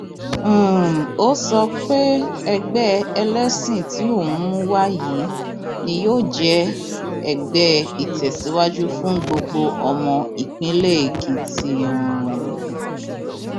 um ó sọ pé ẹgbẹ ẹlẹsìn tí òun mú wá yìí ni yóò jẹ ẹgbẹ ìtẹsíwájú fún gbogbo ọmọ ìpínlẹ èkìtì um